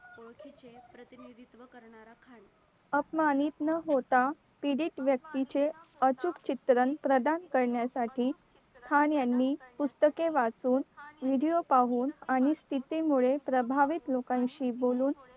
अपमानित न होता पीडित व्यक्तीचे अचूक चित्रण प्रधान करण्यासाठी खान यांनी पुस्तके वाचून video पाहून आणि स्थितीमुळे प्रभावित लोकांशी बोलून